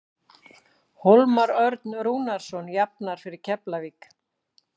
Hólmar Örn Rúnarsson jafnar fyrir Keflavík.